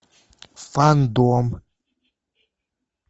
фандом